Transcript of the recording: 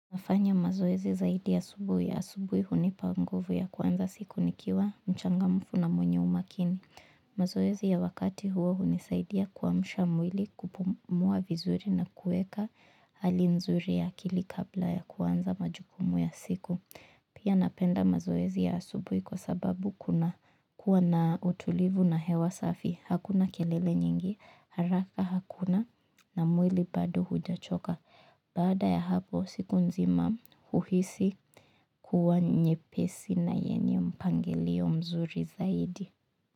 Nafanya mazoezi zaidi asubuhi. Asubuhi hunipa nguvu ya kuanza siku nikiwa mchangamfu na mwenye umakini mazoezi ya wakati huo hunisaidia kuamsha mwili kupumua vizuri na kueka hali nzuri ya akili kabla ya kuanza majukumu ya siku. Pia napenda mazoezi ya asubuhi kwa sababu kunakuwa na utulivu na hewa safi. Hakuna kelele nyingi, haraka hakuna na mwili bado hujachoka. Baada ya hapo siku nzima huhisi kuwa nyepesi na yenye mpangilio mzuri zaidi.